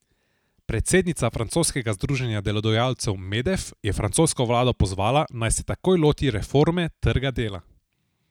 Predsednica francoskega združenja delodajalcev Medef je francosko vlado pozvala, naj se takoj loti reforme trga dela.